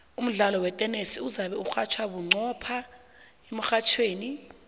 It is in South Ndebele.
umdlalo wetenesi uzabe urhatjhwa bunqopha emrhatjhweni